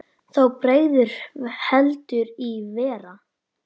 Þá bregður heldur í verra.